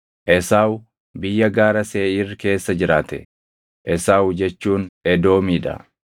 Esaawu biyya gaara Seeʼiir keessa jiraate; Esaawu jechuun Edoomii dha.